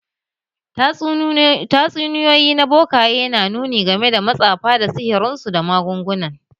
Tatsuniyoyi na bokaye na nuni game da matsafa da sihirinsu da magungunan